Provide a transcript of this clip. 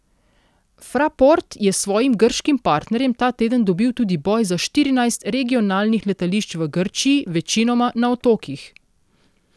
Fraport je s svojim grškim partnerjem ta teden dobil tudi boj za štirinajst regionalnih letališč v Grčiji, večinoma na otokih.